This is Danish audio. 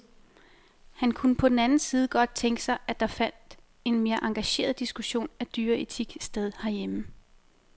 Han kunne på den anden side godt tænke sig, at der fandt en mere engageret diskussion af dyreetik sted herhjemme.